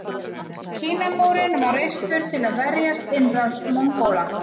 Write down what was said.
Kínamúrinn var reistur til að verjast innrás Mongóla.